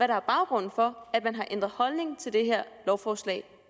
der er baggrunden for at man har ændret holdning til det her lovforslag